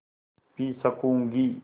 P सकँूगी